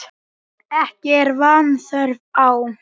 Ekki er vanþörf á.